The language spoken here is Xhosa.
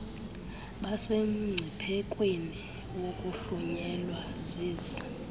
basemngciphekweni wokuhlunyelwa zezi